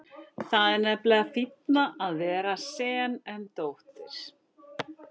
Það er nefnilega fínna að vera sen en dóttir.